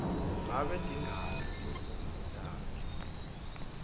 ngabe tingaki timfundvo takho